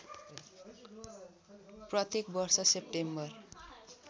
प्रत्येक वर्ष सेप्टेम्बर